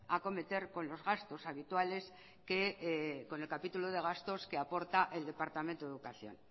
acometer con los gastos habituales que con el capítulo de gastos que aporta el departamento de educación